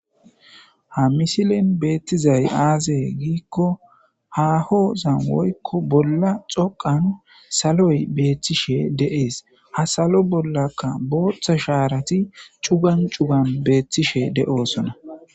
Ha misilen beetizay aaze giiko haahosan woykko bollan xoqqa saloy beetishe de'es; ha salo bollaka booththa shaarati cugan cugan beetishe de'osona.